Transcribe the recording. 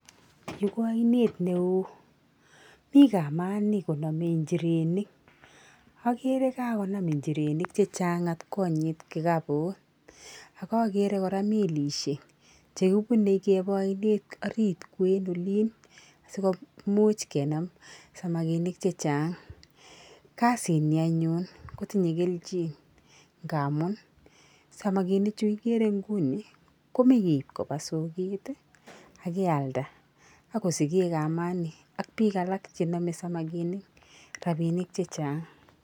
Yuu ko oinet neo mii kamani konome inchirenik okere kakonam inchirenik chechang atkonyit kikabut ak okere koraa melishek chekibune keba oinet orit kwen olii sikomuch kenam samakinik chechang, kazi nii anyun kotinyee keljin ngamun samakinik chuu ikere inguni komaa keib kobaa soket tii ak kialda ak kosiken kamani ak bik alak chenome samaikini robinik chechang.